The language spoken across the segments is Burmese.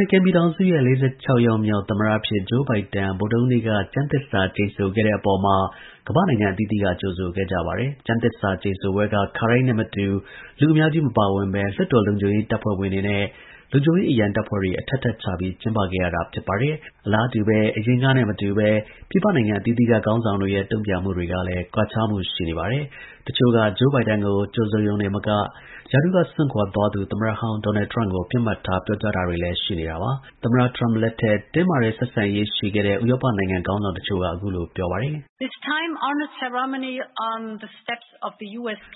ရိကန်ပြည်ထောင်စုရဲ့ ၄၆ ယောက်မြောက် သမ္မတအဖြစ် Joe Biden ဗုဒ္ဓဟူးနေ့တုန်းက ကျမ်းသစ္စာ ကျိန်ဆိုခဲ့တဲ့အပေါ်မှာကမ္ဘာ့ နိုင်ငံ အသီးသီးက ကြိုဆိုခဲ့ကြပါတယ်။ ကျမ်းသစ္စာကျိန်ဆိုပွဲက ခါတိုင်းနဲ့မတူ လူအများကြီးမပါဝင်ဘဲ လွှတ်တော်လုံခြုံရေးအဖွဲ့ဝင်တွေနဲ့ လုံခြုံရေးအရံတပ်ဖွဲ့တွေ အထပ်ထပ်ချ ပြီး ကျင်းပခဲ့ရတာပါ။ အလားတူပဲ အရင်ကနဲ့ မတူပဲ ပြည်ပနိုင်ငံအသီးသီးက ခေါင်းဆောင်တွေရဲ့ တုံ့ပြန်မှုတွေက လည်း ကွာခြားမှု ရှိပါတယ်။ တစ်ချို့က Joe Biden ကို ကြိုဆိုရုံတင်မက ရာထူးက စွန့်ခွာသူ သမ္မတဟောင်း ဒေါ်နယ် ထရမ့်ကို ပစ်မှတ်ထား ပြောကြားတာတွေလည်း ရှိနေတာပါ။ သမ္မတထရမ့်လက်ထက် တင်းမာတဲ့ ဆက်ဆံရေးရှိခဲ့တဲ့ ဥရောပနိုင်ငံ ခေါင်းဆောင် တချို့က အခုလို ပြောပါတယ်။ “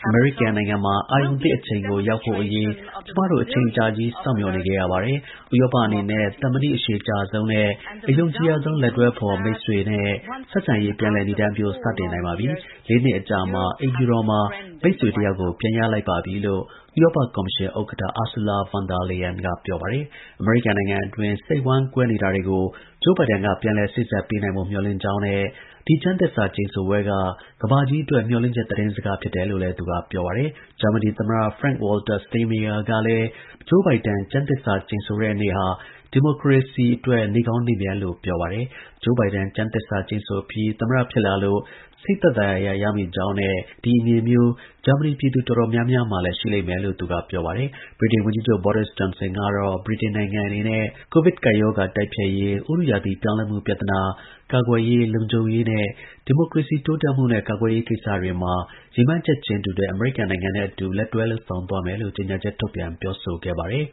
အမေရိကန်နိုင်ငံမှာ အာရုဏ်သစ်အချိန်ကို ရောက်ဖို့ ကျွန်မတို့ အချိန်အကြာကြီး စောင့်မျှော်နေခဲ့ရပါတယ်။ ဥရောပအနေနဲ့ သမနိ အရှည်ကြာဆုံးနဲ့ အယုံကြည်ရဆုံး လက်တွဲဖော် မိတ်ဆွေနဲ့ ဆက်ဆံရေး ပြန်လည် နိဒါန်းပျိုးစတင် နိုင်ပါပြီ၊ ၄ နှစ် အကြာမှာ အိမ်ဖြူတော်မှာ မိတ်ဆွေတယောက်ကို ပြန်ရလိုက်ပြီ” လို့ဥရောပကော်မရှင် ဥက္ကဌUrsula von der Leyen က ပြောပါတယ်။ အမေရိကန်နိုင်ငံတွင်း စိတ်ဝမ်းကွဲနေတာတွေကို Biden ကပြန်လည် စေ့စပ်ပေးသွားနိုင်ဖို့ မျှော်လင့်ကြောင်းနဲ့ ဒီကျမ်းသစ္စာကျိန်ဆိုပွဲ က ကမ္ဘာကြီးအတွက် မျှော်လင့်ချက်သတင်းစကားဖြစ်တယ်လို့လည်း သူကပြောပါတယ်။ ဂျာမနီ သမ္မတ Frank Walter Steinmeier ကလည်း Bidenကျမ်းသစ္စာကျိန်ဆိုခဲ့တဲ့နေ့ဟာ ဒီမိုကရေစီအတွက် နေ့ကောင်း ရက်မြတ်လို့ ပြောပါတယ်။ Joe Biden ကျမ်းသစ္စာ ကျိန်ဆိုပြီး သမ္မတ ဖြစ်လာလို့ စိတ်သက်သာရာရမိကြောင်းနဲ့ ဒီ အမြင်မျိုး ဂျာမနီ ပြည်သူ တော်တော်များများလည်း ရှိလိမ့်မယ်လို့ သူက ပြောပါတယ်။ ဗြိတိန်ဝန်ကြီးချုပ် Boris Johnson ကတော့ ဗြိတိန်အနေနဲ့ COVID တိုက်ဖျက်ရေး၊ ဥတုရာသီပြောင်းလဲမှု ပြဿနာ၊ ကာကွယ်ရေး၊ လုံခြုံရေးနဲ့ ဒီမိုကရေစီ တိုးတက်ရေးနဲ့ ကာကွယ်ရေးကိစ္စတွေမှာ ရည်မှန်းချက်တူတဲ့အမေရိကန်နဲ့အတူ လက်တွဲလုပ်ဆောင်သွားမယ်လို့ ကြေညာချက်ထုတ်ပြန်ပြောဆိုခဲ့ပါတယ်။